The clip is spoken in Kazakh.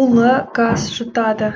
улы газ жұтады